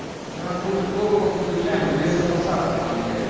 у нас был прикол помню приезжаем в лесопосадка там блять